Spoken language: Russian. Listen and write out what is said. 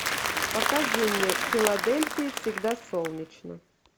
покажи мне в филадельфии всегда солнечно